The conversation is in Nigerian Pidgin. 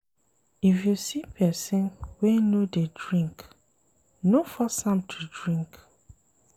If you see pesin wey no dey drink, no force am to drink.